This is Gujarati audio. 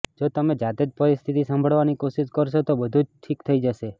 જો તમે જાતે જ પરિસ્થિતિ સંભાળવાની કોશિશ કરશો તો બધુ જ ઠીક થઈ જશે